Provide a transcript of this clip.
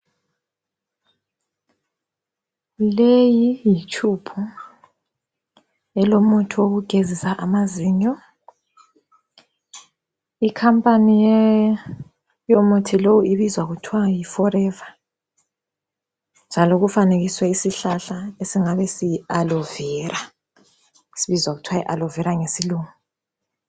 Leyi yitshubhu elomuthi wokugezisa amazinyo, ikhampani yomuthi lo ibizwa kuthwa yi forever, njalo kufanekiswe isihlahla ensingani siyi aloe Vera, sibizwa kuthwa yi aloe Vera ngesilungu.